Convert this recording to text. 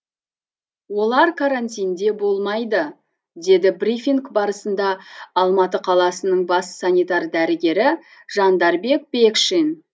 олар карантинде болмайды деді брифинг барысында алматы қаласының бас санитар дәрігері жандарбек бекшин